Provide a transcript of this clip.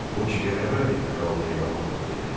Bu ki qələbədir, kral heyranlıqla dedi.